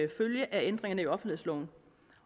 ændringerne i offentlighedsloven